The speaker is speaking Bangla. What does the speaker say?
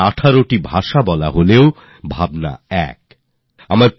তারা ১৮টি ভাষা বলতে পারেন কিন্তু ভাবনা একটাই